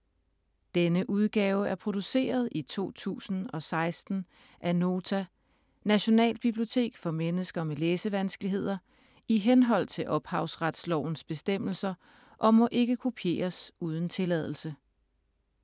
Denne udgave er produceret i 2016 af Nota - Nationalbibliotek for mennesker med læsevanskeligheder, i henhold til ophavsrettes bestemmelser, og må ikke kopieres uden tilladelse.